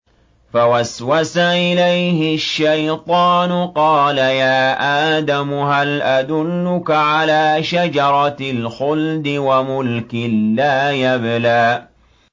فَوَسْوَسَ إِلَيْهِ الشَّيْطَانُ قَالَ يَا آدَمُ هَلْ أَدُلُّكَ عَلَىٰ شَجَرَةِ الْخُلْدِ وَمُلْكٍ لَّا يَبْلَىٰ